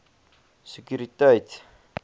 sekuriteit